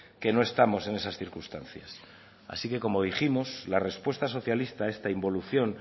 que no estamos en esas circunstancias así que como dijimos la respuesta socialista a esta involución